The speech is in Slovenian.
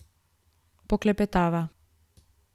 Poklepetava.